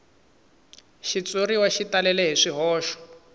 xitshuriwa xi talele hi swihoxo